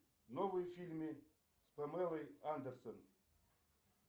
новые фильмы с памелой андерсон